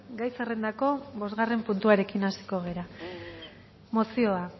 gai zerrendako bosgarren puntuarekin hasiko gara mozioa